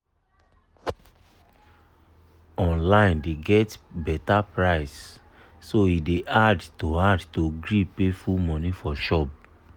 online dey always get better price so e dey hard to hard to gree pay full money for shop.